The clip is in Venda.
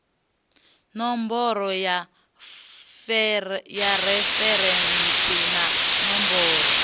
ṋomboro ya referentsi na ṋomboro